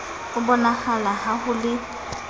a bonahala ha ho le